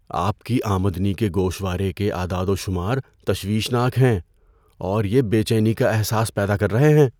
آپ کی آمدنی کے گوشوارے کے اعداد و شمار تشویش ناک ہیں، اور یہ بے چینی کا احساس پیدا کر رہے ہیں۔